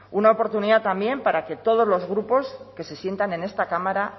una oportunidad también para que todos los grupos que se sientan en esta cámara